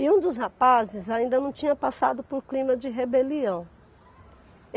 E um dos rapazes ainda não tinha passado por clima de rebelião.